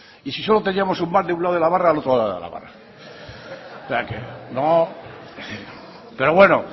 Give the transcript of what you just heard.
y si solo teníamos un bar de un lado de la barra al otro lado de la barra pero bueno